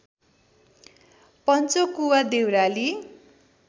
Panchakuwa Deurali